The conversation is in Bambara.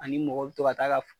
Ani mɔgɔ bɛ to ka ta ka